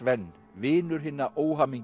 ven vinur hinna